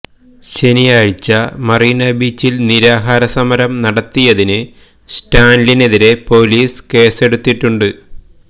ശനിയാഴ്ച്ച മറീനാ ബീച്ചിൽ നിരാഹാര സമരം നടത്തിയതിന് സ്റ്റാലിനെതിരെ പൊലീസ് കേസെടുത്തിട്ടുണ്ട്